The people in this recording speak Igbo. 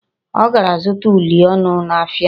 Ọ gara zụta uli ọnụ n'ahịa.